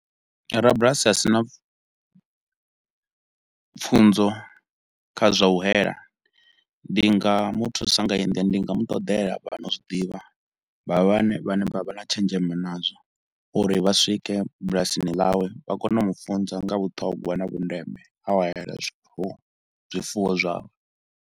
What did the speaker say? Rabulasi a si na pfunzo kha zwa u hayela, ndi nga mu thusa nga heyi ndila, ndi nga mu ṱoḓela vha no zwiḓivha. Vha vha vhane vha vha na tshenzhemo nazwo, uri vha swike bulasini ḽawe vha kone u mu funza nga vhuṱhogwa na vhundeme ha u hayela zwifuwo, zwifuwo zwawe.